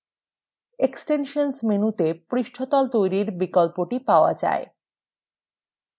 extensions মেনুতে পৃষ্ঠতল তৈরির বিকল্পটি পাওয়া যায়